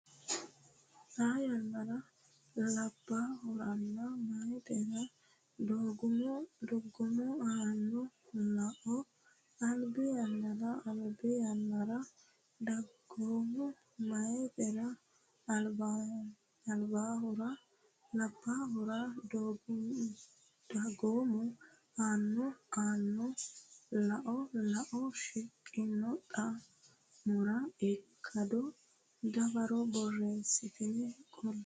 Xaa yannara labbaahuranna meyatera dagoomu aanno lao Albi yannara Albi yannara dagoomu meyatera labbaahura dagoomu aanno aanno lao lao shiqqino xa mora ikkado dawaro borreessitine qolle.